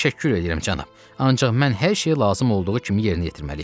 Təşəkkür edirəm cənab, ancaq mən hər şeyi lazım olduğu kimi yerinə yetirməliyəm.